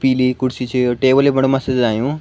पीली कुर्सी च यो टेबल भी बड़ा मस्त सजायुं।